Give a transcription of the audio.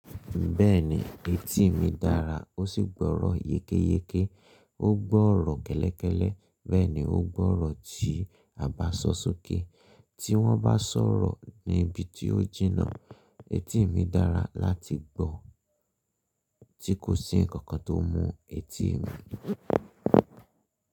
Bẹ́ẹ̀ni, etí mi dára ó sì gbọ́rọ̀ yékéyéké, ó gbọ́rọ̀ kẹ́lẹ́kẹ́lẹ́, bẹ́ẹ̀ ni ó gbọ́rọ̀ tí a bá sọ sókè. Tí wọ́n bá sọ̀rọ̀ ní ibi tí ó jìnnà. Etí mi dára láti gbọ́ tí kò sí ǹkan kan tó mú etí mi.